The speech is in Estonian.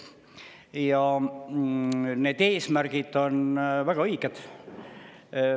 Ja need eesmärgid on väga õiged.